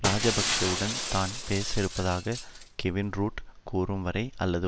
ராஜபக்சவுடன் தான் பேச இருப்பதாக கெவின் ரூட் கூறும் வரை அல்லது